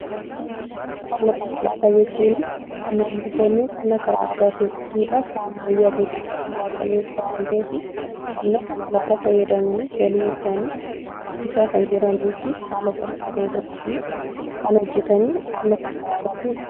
Qonna konkolaataa jechuun qonnaan bultoonni qonna karaa aadatiin qotuu irra karaa ammayyaatiin qotuu bu'aa qabeessa waan ta'eef, qonna konkolaataa fayyadamanii, galii isaanii guddisaa kan jiranii fi haala salphaa ta'e tokkoon kan hojjetanii qonna konkolaataatiin qotuudha.